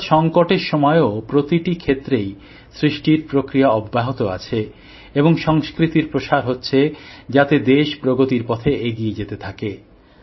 অর্থাৎ সংকটের সময়ও প্রতিটি ক্ষেত্রেই সৃষ্টির প্রক্রিয়া অব্যাহত আছে এবং সংস্কৃতির প্রসার হচ্ছে যাতে দেশ প্রগতির পথে এগিয়ে যেতে পারে